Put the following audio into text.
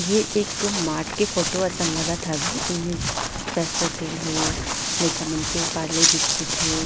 ये एक मार्ट के फोटो असन लगत हवे ए में सरसो तेल हे लइका मन के पारले बिस्किट हे।